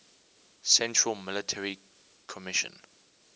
central military commission